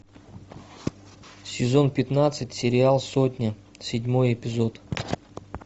сезон пятнадцать сериал сотня седьмой эпизод